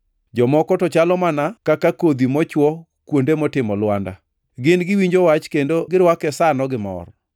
Jomoko to chalo mana kaka kodhi mochwo kuonde motimo lwanda. Gin giwinjo Wach kendo girwake sano gi mor.